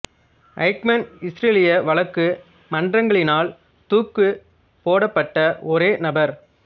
Eichmann இசுரேலிய வழக்கு மன்றங்களினால் தூக்கு போடப் பட்ட ஒரே நபர்